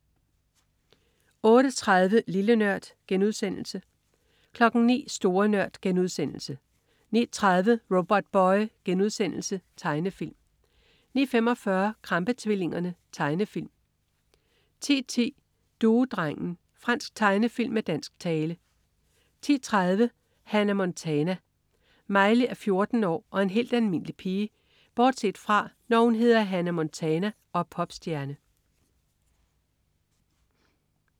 08.30 Lille Nørd* 09.00 Store Nørd* 09.30 Robotboy.* Tegnefilm 09.45 Krampe-tvillingerne. Tegnefilm 10.10 Duedrengen. Fransk tegnefilm med dansk tale 10.30 Hannah Montana. Miley er 14 år og en helt almindelig pige bortset fra, når hun hedder Hannah Montana og er popstjerne